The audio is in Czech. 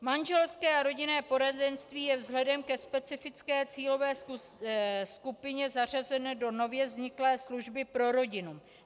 Manželské a rodinné poradenství je vzhledem ke specifické cílové skupině zařazeno do nově vzniklé služby pro rodinu.